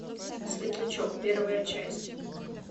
светлячок первая часть